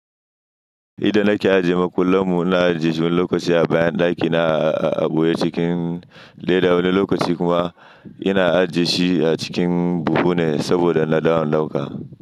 Idan nake ajiye makullan mu, ina ajiye shi wane lokaci a bayan ɗakina a Aboye cikin leda, wani lokaci kuma ina ajiye shi a cikin buhu ne saboda na dawo dauka.